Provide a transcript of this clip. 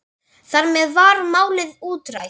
Þar með var málið útrætt.